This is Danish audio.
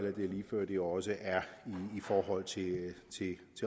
det også er i forhold til